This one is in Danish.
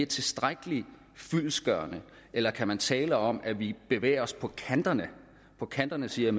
tilstrækkelig fyldestgørende eller kan man tale om at vi bevæger os på kanterne på kanterne siger